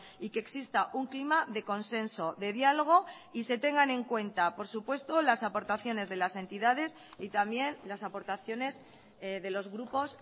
y que exista un clima de consenso de diálogo y se tengan en cuenta por supuesto las aportaciones de las entidades y también las aportaciones de los grupos